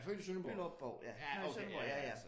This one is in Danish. Jeg er født i Sønderborg. Ja okay ja ja